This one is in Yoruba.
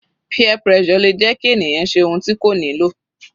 Peer pressure le jẹ́ kí ènìyàn ṣe ohun tí kò nílò.